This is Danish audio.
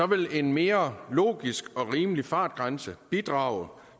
vil en mere logisk og rimelig fartgrænse bidrage